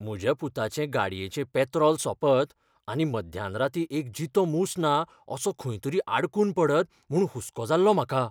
म्हज्या पुताचे गाडयेचें पॅत्रॉल सोंपत आनी मध्यान रातीं एक जितो मूस ना असो खंयतरी आडकून पडत म्हूण हुस्को जाल्लो म्हाका.